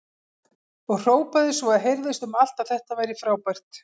Og hrópaði svo að heyrðist um allt að þetta væri frábært!